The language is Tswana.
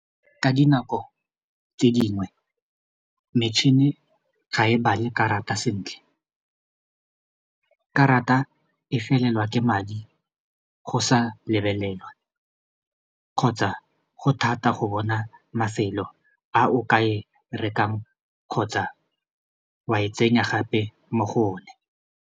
Ka dinako tse dingwe metšhini ga e bale karata sentle karata e felelwa ke madi go sa lebelelwa kgotsa go thata go bona mafelo a o ka e rekang kgotsa wa e tsenya gape mo go one.